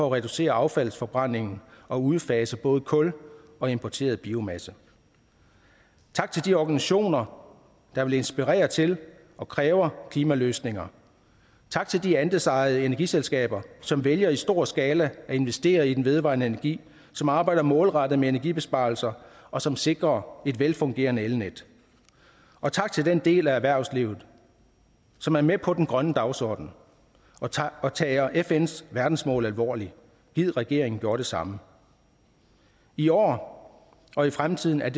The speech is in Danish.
at reducere affaldsforbrændingen og udfase både kul og importeret biomasse tak til de organisationer der vil inspirere til og kræver klimaløsninger tak til de andelsejede energiselskaber som vælger i stor skala at investere i den vedvarende energi som arbejder målrettet med energibesparelser og som sikrer et velfungerende elnet og tak til den del af erhvervslivet som er med på den grønne dagsorden og tager og tager fns verdensmål alvorligt gid regeringen gjorde det samme i år og i fremtiden er